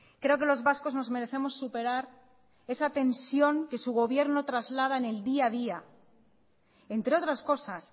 creo que los vascos nos merecemos superar esa tensión que su gobierno traslada en el día a día entre otras cosas